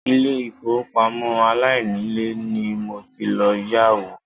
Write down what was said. Ilé ìfowópamọ́ aláìnílèé ni mo ti lọ yá owó.